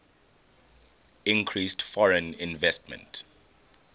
increased foreign investment